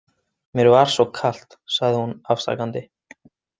Mér var svo kalt, sagði hún afsakandi.